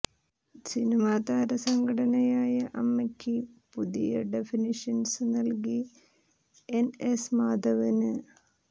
cinema താരസംഘടനയായ അമ്മയ്ക്ക് പുതിയ ഡെഫിനിഷന് നല്കി എന് എസ് മാധവന്